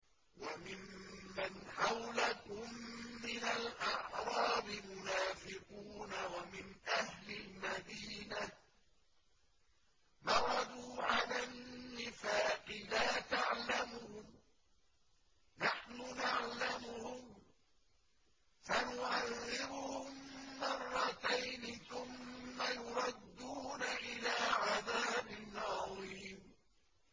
وَمِمَّنْ حَوْلَكُم مِّنَ الْأَعْرَابِ مُنَافِقُونَ ۖ وَمِنْ أَهْلِ الْمَدِينَةِ ۖ مَرَدُوا عَلَى النِّفَاقِ لَا تَعْلَمُهُمْ ۖ نَحْنُ نَعْلَمُهُمْ ۚ سَنُعَذِّبُهُم مَّرَّتَيْنِ ثُمَّ يُرَدُّونَ إِلَىٰ عَذَابٍ عَظِيمٍ